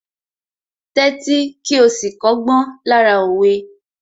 Tẹ́tí kí ó sì kọ́gbọ́n lára òwe